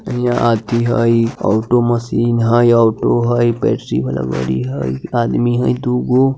इहाँ आदमी हई ऑटो मशीन हई ऑटो हई वाला गाड़ी हई आदमी हई दुगो।